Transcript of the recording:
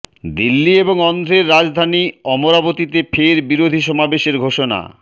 দিল্লি এবং অন্ধ্রের রাজধানী অমরাবতীতে ফের বিরোধী সমাবেশের ঘোষণা